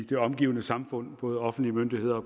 det omgivende samfund både offentlige myndigheder og